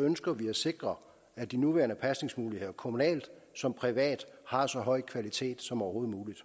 ønsker vi at sikre at de nuværende pasningsmuligheder kommunalt som privat har så høj kvalitet som overhovedet muligt